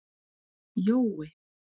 Jói